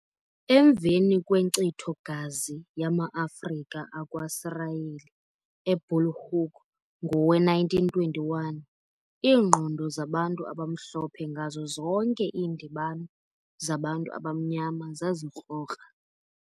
Emveni kwenkcitho gazi yama-Afrika akwaSirayeli eBulhoek ng0we-1921, iingqondo zabantu abaMhlophe ngazo zonke iindibano zabantu abamnyama zazikrokra.